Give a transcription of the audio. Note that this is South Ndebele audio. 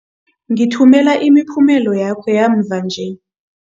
Ngithumela imiphumela yakho yamva nje.